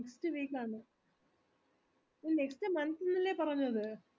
next week ആന്ന് next month ന്നല്ലേ പറഞ്ഞത്